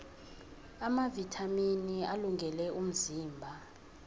amavithamini alungele umzimba